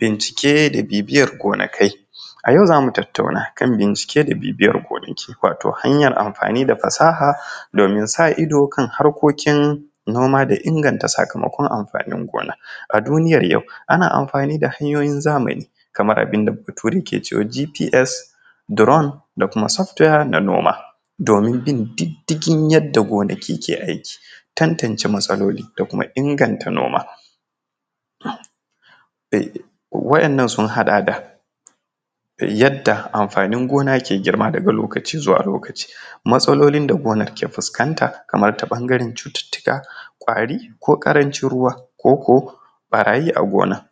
Bincike da bibiyar gonakai, a yau zamu tattauna kan bicike da bibiyar gonakai wato hanyar amfani da fasaha domin sa ido kan harkokin noma da inganta sakamakon amfanin gona, a duniyar yau ana amfani da hayoyin zamani kamar abin da bature yake GPS, Drome da kuma soft ware na noma domin bin diddigin yadda gonaki ke aiki, tantance matsaloli da kuma inganta noma waɗannan sun haɗa da yadda amfanin gona ke girma daga lokaci zuwa lokaci, matsalolin da gonar ke fuskanta kamar ta ɓangaren cuttutuka ƙwari ko karancin ruwa ko ko ɓarayi a gona,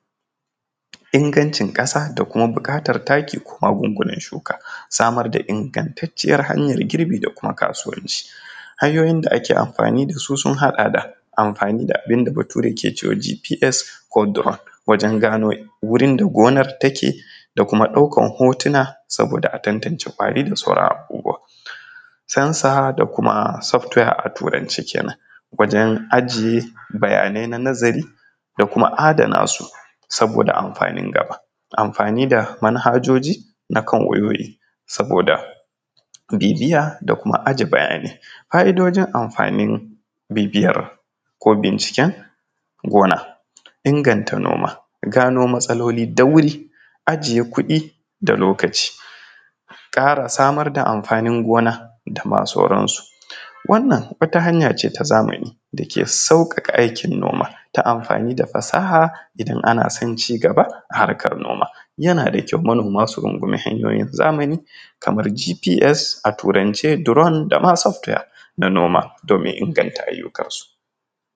ingancin kasa da kuma bukatar taki ko magungunan shuka, samar da ingantaciyar harkar girbi da kuma kasuwanci. Hanyoyin da ake amfani da su sun haɗa da amfani da abin da bature ke cewa GPS ko Drome wajen gano wurin da gonar take da kuma daukar hotuna saboda a tabtance ƙwari da sauran abubuwan, sensore da kuma soft ware a turance kenan wajen ajiye bayanai na nazari da kuma adana su saboda amfanin gaba, amfani da manhajoji na kan wayoyi saboda bibiya da kuma ajiye bayanai, fa’idojin amfanin bibiyan ko binciken gona, inganta noma gano matsaloli da wuri, ajiye kuɗi da lokaci, kara samar da amfanin gona dama sauransu, wannan wata hanya ce ta zamani dake saukaka aikin noma ta amfani da fasaha idon ana son cigaba a harkar noma, yana da kyau manoma su dinga amfani da hanyoyi na zamani kamar GPS a turance, Drome dama software na noma domin inganta ayukansu.